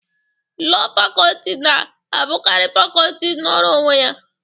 Lọọ Facọlti na-abụkarị Facọlti nọrọ onwe ya.